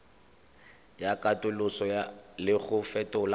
ya katoloso le go fetola